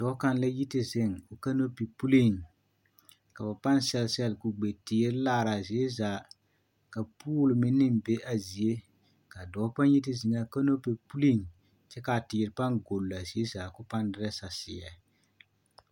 Dɔɔ kaŋ la yi te zeŋ o kanopi puliŋ ka ba paŋ sɛl sɛl kugbe teere laaraa zie zaa ka pool meŋ naŋ be a zie kaa dɔɔ pa yi te zeŋaa kanopi puliŋ kyɛ kaa teere paŋ gollaa zie zaa koo paŋ derɛ saseɛ.